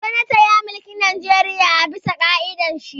Jonathan ya mulki Najeriya a bisa ƙa'idan shi